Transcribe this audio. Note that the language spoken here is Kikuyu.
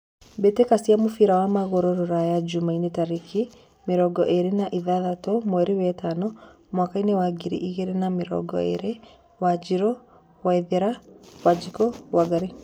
Mbĩtĩka cia mũbira wa magũrũ Ruraya Jumaine tarĩki mĩrongo ĩrĩ na ithathatũ mweri wetano mwakainĩ wa ngiri igĩrĩ na mĩrongo ĩrĩ: Wanjiru, Waithera, Wanjiku, Wangari